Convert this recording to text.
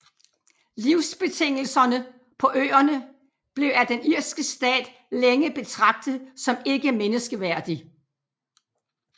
Livsbetingelserne på øerne blev af den irske stat længe betragtet som ikke menneskeværdig